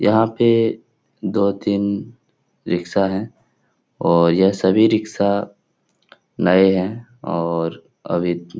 यहाँ पे दो-तीन रिक्शा हैं और ये सभी रिक्शा नये हैं और अभी --